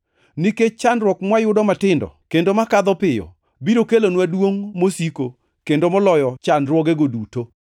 Nikech chandruok mwayudo matindo kendo makadho piyo biro kelonwa duongʼ mosiko kendo moloyo chandruogego duto.